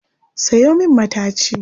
Sayo min mataci